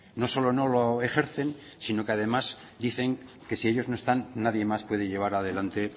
no solo no lo ejercen sino que además dicen que si ellos no están nadie más puede llevas adelante